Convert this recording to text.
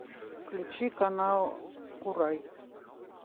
включи канал курай